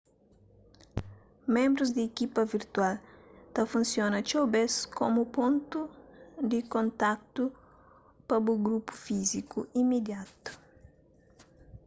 ménbrus di ekipa virtual ta funsiona txeu bês komu pontu di kontatu pa bu grupu físiku imidiatu